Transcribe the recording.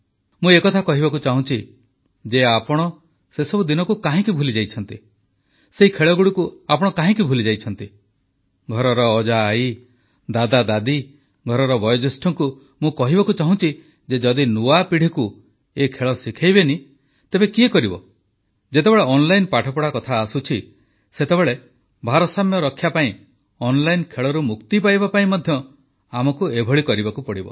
ମୁଁ ଏକଥା କହିବାକୁ ଚାହୁଁଛି ଯେ ଆପଣ ସେସବୁ ଦିନକୁ କାହିଁକି ଭୁଲିଯାଇଛନ୍ତି ସେହି ଖେଳଗୁଡ଼ିକୁ ଆପଣ କାହିଁକି ଭୁଲିଯାଇଛନ୍ତି ଘରର ଅଜାଆଈ ଦାଦାଦାଦି ଘରର ବୟୋଜ୍ୟେଷ୍ଠଙ୍କୁ ମୁଁ କହିବାକୁ ଚାହୁଛି ଯେ ଯଦି ନୂଆପିଢ଼ିକୁ ଏ ଖେଳ ଶିଖାଇବେ ନାହିଁ ତେବେ କିଏ କରିବ ଯେତେବେଳେ ଅନଲାଇନ୍ ପାଠପଢ଼ା କଥା ଆସୁଛି ସେତେବେଳେ ଭାରସାମ୍ୟ ରକ୍ଷାପାଇଁ ଅନଲାଇନ୍ ଖେଳରୁ ମୁକ୍ତି ପାଇବାପାଇଁ ମଧ୍ୟ ଆମକୁ ଏପରି କରିବାକୁ ହିଁ ପଡ଼ିବ